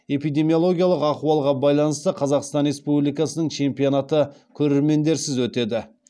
эпидемиологиялық ахуалға байланысты қазақстан республикасының чемпионаты көрермендерсіз өтеді